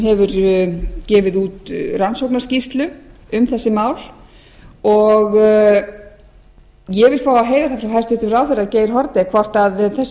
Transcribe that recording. hefur gefið út rannsóknarskýrslu um þessi mál ég vil fá að heyra það frá hæstvirtum ráðherra geir haarde hvort þessi sjónarmið eigi